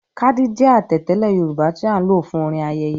“Kádí” jẹ́ àtẹ̀tẹ́lẹ̀ Yorùbá tí a ń lò fún orin ayẹyẹ.